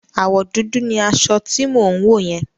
Àwọ̀ dúdú ni aṣọ tí mò ń wò yẹn.